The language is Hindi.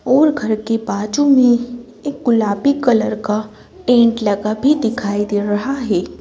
और घर के बाजू में एक गुलाबी कलर का पेंट लगा भी दिखाई दे रहा है।